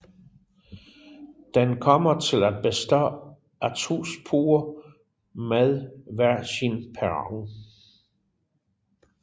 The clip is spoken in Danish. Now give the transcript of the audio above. Den kommer til at bestå af to spor med hver sin perron